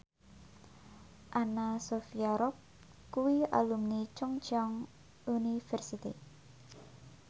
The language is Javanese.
Anna Sophia Robb kuwi alumni Chungceong University